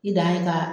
I dan ye ka